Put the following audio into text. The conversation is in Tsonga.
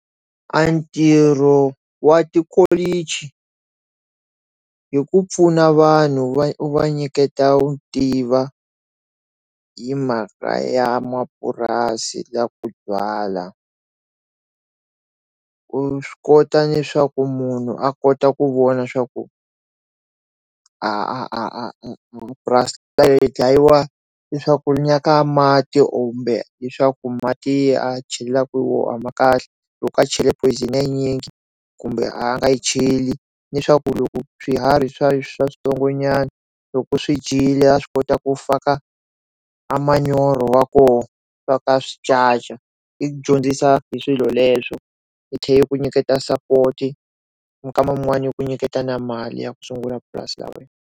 A ntirho wa tikholichi hi ku pfuna vanhu va nyiketa wu tiva yi mhaka ya mapurasi na ku byala u swi kota leswaku munhu a kota ku vona swa ku a purasi leyi dlayiwa leswaku mati kumbe leswaku mati a chelaka hi woho a ma kahle loko a chela poison ya yinyingi kumbe a nga yi cheli ni swaku loko swiharhi swa swa switsongonyani loko swidyile ya swi kota ku faka a manyoro wa kona swa ka switsandza i dyondzisa hi swilo leswo hi tlhe yi ku nyiketa support minkama yin'wana yo ku nyiketa na mali ya ku sungula purasi ra wena.